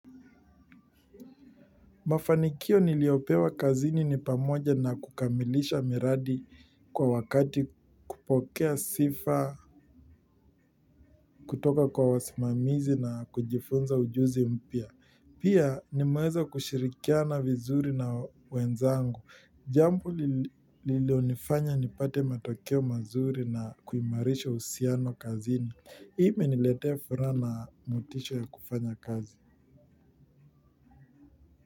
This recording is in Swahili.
Mafanikio niliyopewa kazini ni pamoja na kukamilisha miradi kwa wakati kupokea sifa kutoka kwa wasimamizi na kujifunza ujuzi mpya. Pia ni meweza kushirikia na vizuri na wenzangu. Jambo lililonifanya nipate matokeo mazuri na kuimarisha usiano kazini. Ime niletea furaha na motisha ya kufanya kazi.